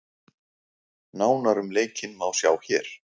Nánar um leikinn má sjá hér